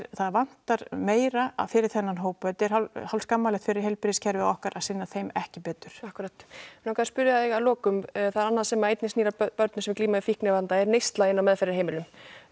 það vantar meira fyrir þennan hóp þetta er hálf skammarlegt fyrir heilbrigðiskerfið okkar að sinna þeim ekki betur akkúrat mig langaði að spyrja þig að lokum það er annað sem að einnig snýr að börnum með fíknivanda er neysla inn á meðferðarheimilum